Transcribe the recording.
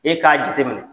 E k'a jate minɛ